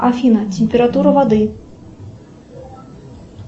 афина температура воды